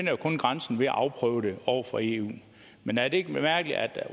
jo kun grænsen ved at afprøve det over for eu men er det ikke mærkeligt at